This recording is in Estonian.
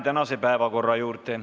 Läheme tänase päevakorra juurde.